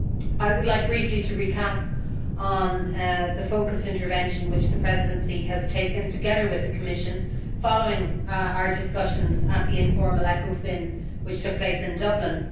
I would like to briefly recap on the focussed intervention which the Presidency has taken, together with the Commission, following our discussions at the informal ECOFIN which took place in Dublin.